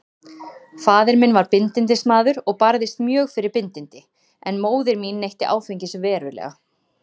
Faðir minn var bindindismaður og barðist mjög fyrir bindindi, en móðir mín neytti áfengis verulega.